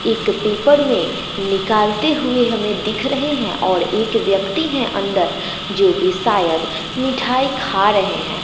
एक पेपर में निकालते हुए हमें दिख रहे हैं और एक व्यक्ति हैं अंदर जोकि सायद मिठाई खा रहे हैं।